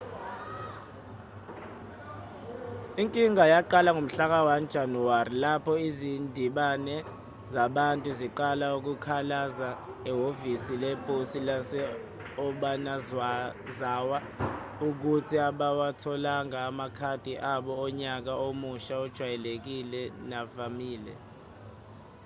inkinga yaqala ngomhlaka-1 janawari lapho izindimbane zabantu ziqala ukukhalaza ehhovisi leposi lase-obanazawa ukuthi abawatholanga amakhadi abo onyaka omusha ajwayelekile navamile